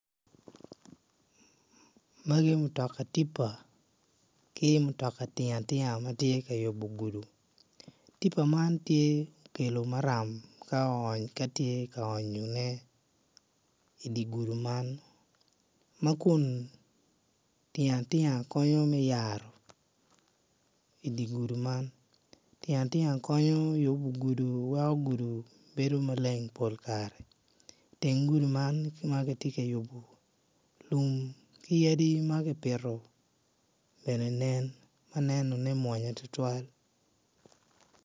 Magi mutoka tipa ki mutoka tinga tinga ma tye ka yubu gudu tipa man tye okelo maram ka ony ka tye ka onyone idi gudu man ma kun tinga tinga konyo me yaro i di gudu man tinga tinga konyo yubu gudu weko gudu bedo malen pol kare man ki ma giti ka yubu lum ki yadi ma kipito bene nen ma nenone mwonya tutwal